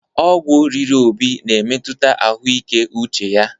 Ọgwụ riri Obi na-emetụta ahụike uche ya.